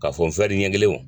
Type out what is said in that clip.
K'a fɔ ɲɛ kelen o